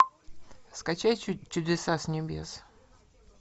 скачай чудеса с небес